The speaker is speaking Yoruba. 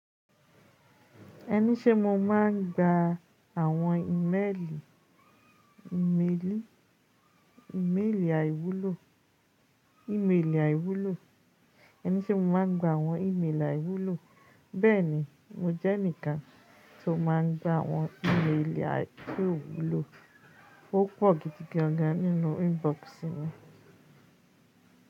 Ẹni sé mo ma n gba àwọn ímeèlì, ímeèlì, ímeèlì àìwúlò, ímeèlì àìwúlò. Ẹni sé mo ma n gba àwọn ímeèlì àìwúlò, bẹ́ẹ̀ni mo jẹ́ ẹnìkan tí ó máa n gba àwọn ímeèlì tí ó wúlò, ó pọ̀ gidigan nínú inbox mi.